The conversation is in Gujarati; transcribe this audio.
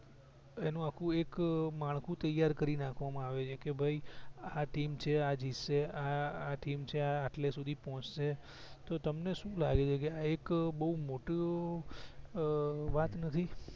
એનું આખું એક માળખું ત્યાર કરી નાખવા માં આવે છે કે ભાઈ આ ટીમ છે આ જીત સે આ ટીમ છે આ આટલે સુધી પહોચશે કે તમને સુ લાગે છે આ એક બવ મોટી વાત નથી